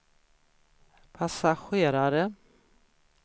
passagerare